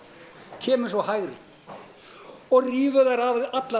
kemur sú hægri og rífur þær allar